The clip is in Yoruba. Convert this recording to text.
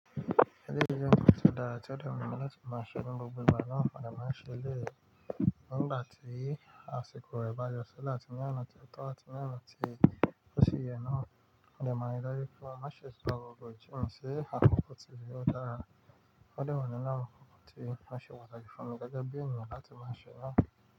Èyí ni ó jẹ́ ohun tí ó dára tí ó dà mí mọ́ láti máa ṣe gbogbo ìgbà náà, mo dà máa ṣe léè nígbà tí àsìkò rẹ̀ bá jọ sí láti ní ọ̀nà tí ó tọ́ àti ní ọ̀nà tí ó ṣe yẹ náà. Mo dà máa rí dájú pé má ṣe sọ ọ̀rọ̀ èéyìkí hàn, ṣe àkókò tí ìwé ó dára. Ó dà mí mọ̀ ní lára àkókò tí má ṣe pàṣẹ fún mi gẹ́gẹ́ bi ọrọ mọ̀ láti máa ṣe náà.